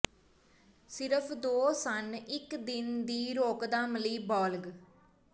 ਸਿਰਫ ਦੋ ਸਣ ਇੱਕ ਦਿਨ ਦੀ ਰੋਕਥਾਮ ਲਈ ਬਾਲਗ